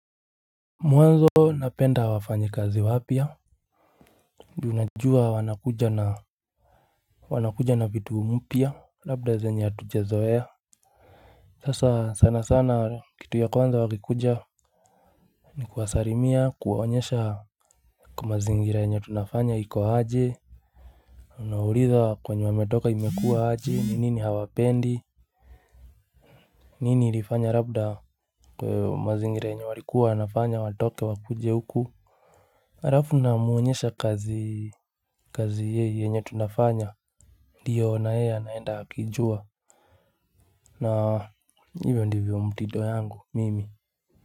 Mwanzo napenda wafanyi kazi wapia. Du najua wanakuja na wanakuja na vitu mpia. Labda zenye hatujezoea. Sasa sana sana kitu ya kwanza wakikuja. Ni kuwasarimia kuwaonyesha. Kwa mazingira yenye tunafanya hiko haje. Unaulitha kwenye wametoka imekua haje ninini hawapendi. Nini ilifanya labda. Kwa mazingira yenye walikuwa wanafanya watoke wakuje huku. Harafu na muonyesha kazi kazi yei yenye tunafanya. Diyo na he anaenda hakijua. Na hivyo ndivyo mtito yangu mimi.